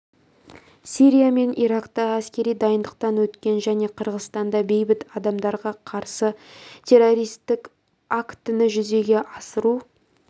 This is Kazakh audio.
сирия мен иракта әскери дайындықтан өткен және қырғызстанға бейбіт адамдарға қарсы террористік акттіні жүзеге асыру